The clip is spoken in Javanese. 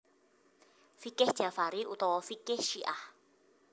Fiqih Jafari utawa Fiqih Syiah